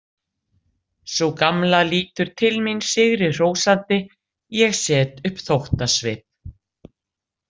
Sú gamla lítur til mín sigri hrósandi, ég set upp þóttasvip.